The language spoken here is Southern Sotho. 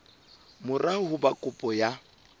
mora ho ba kopo ya